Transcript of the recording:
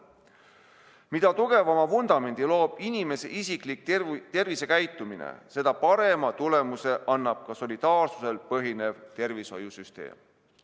Mida tugevama vundamendi loob inimese isiklik tervisekäitumine, seda parema tulemuse annab solidaarsusel põhinev tervishoiusüsteem.